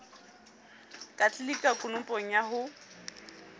ka tlelika konopong ya ho